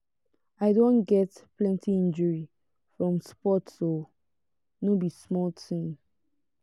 i don get plenty injury from sports o no be small tin.